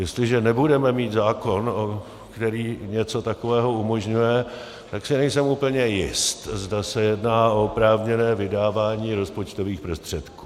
Jestliže nebudeme mít zákon, který něco takového umožňuje, tak si nejsem úplně jist, zda se jedná o oprávněné vydávání rozpočtových prostředků.